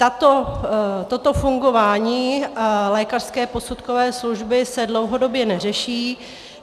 Toto fungování lékařské posudkové služby se dlouhodobě neřeší.